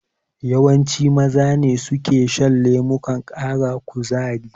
Yawanci Maza ne suka shan lemukan ƙara kuzari.